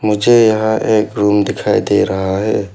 मुझे यहां एक रूम दिखाई दे रहा है।